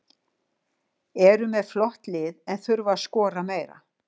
Eru með flott lið en þurfa að skora meira.